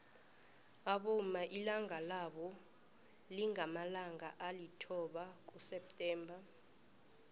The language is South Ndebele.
abomma ilanga labo lingamalanga alithoba kuseptember